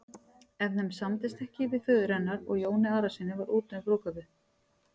Ef þeim samdist ekki föður hennar og Jóni Arasyni var úti um brúðkaupið.